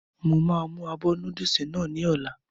Mo máa mú abọ́ núdùsì náà ní ọ̀la